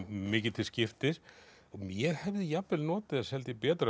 mikið til skiptis ég hefði jafnvel notið þess held ég betur